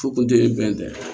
Fu kun tɛ e bɛn tɛ